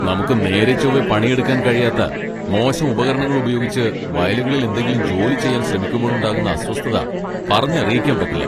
നമുക്ക് നേരെ ചോവ്വേ പണിയെടുക്കാൻ കഴിയാത്ത മോശം ഉപകരണങ്ങൾ ഉപയോഗിച്ച് വയലുകളിൽ എന്തെങ്കിലും ജോലി ചെയ്യാൻ ശ്രമിക്കുമ്പോഴുണ്ടാകുന്ന അസ്വസ്ഥത പറഞ്ഞറിയിക്കാൻ പറ്റില്ല .